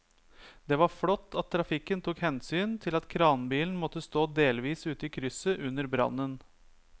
Det var flott at trafikken tok hensyn til at kranbilen måtte stå delvis ute i krysset under brannen.